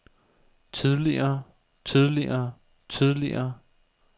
tidligere tidligere tidligere